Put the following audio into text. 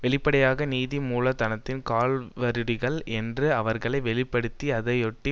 வெளிப்படையாக நீதி மூலதனத்தின் கால்வருடிகள் என்று அவர்களை வெளி படுத்தி அதையொட்டி